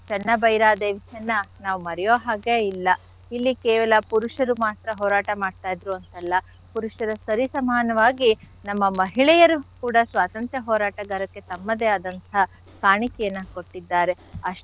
ಚೆನ್ನಭೈರಾದೇವಿ ಚೆನ್ನ ನಾವ್ ಮರ್ಯೋ ಹಾಗೆ ಇಲ್ಲ. ಇಲ್ಲಿ ಕೇವಲ ಪುರುಷರು ಮಾತ್ರ ಹೋರಾಟ ಮಾಡ್ತಾ ಇದ್ರು ಅಂತ ಅಲ್ಲ ಪುರುಷರ ಸರಿ ಸಮಾನವಾಗಿ ನಮ್ಮ ಮಹಿಳೆಯರು ಕೂಡ ಸ್ವಾತಂತ್ರ್ಯ ಹೋರಾಟಗಾರಕ್ಕೆ ತಮ್ಮದೇ ಆದಂಥ ಕಾಣಿಕೆಯನ್ನ ಕೊಟ್ಟಿದಾರೆ. ಅಷ್ಟೇ,